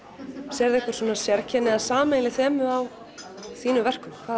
sérðu einhver sérkenni eða sameiginleg þemu á þínum verkum hvað